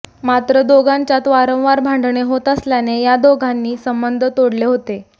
मात्र दोघांच्यात वारंवार भांडणे होत असल्याने या दोघांनी संबंध तोडले होते